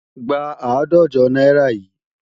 Gba àádọ́jọ náírà yìí!